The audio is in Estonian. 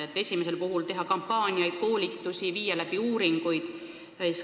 Esimese täitmiseks tuleb teha kampaaniaid ja koolitusi, viia läbi uuringuid.